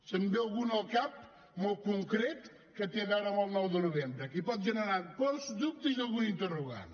me’n ve algun al cap molt concret que té a veure amb el nou de novembre que pot generar pors dubtes i algun interrogant